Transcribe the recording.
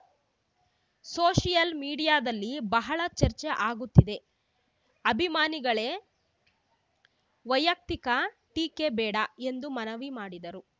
social ಮೀಡಿಯಾದಲ್ಲಿ ಬಹಳ ಚರ್ಚೆ ಆಗುತ್ತಿದೆ ಅಭಿಮಾನಿಗಳೇ ವೈಯಕ್ತಿಕ ಟೀಕೆ ಬೇಡ ಎಂದು ಮನವಿ ಮಾಡಿದರು